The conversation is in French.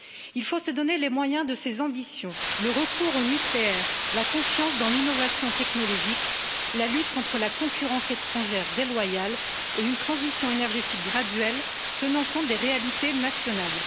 Il faut se donner les moyens de ses ambitions le recours au nucléaire, la confiance dans l'innovation technologique, la lutte contre la concurrence étrangère déloyale et une transition énergétique graduelle tenant compte des réalités nationales.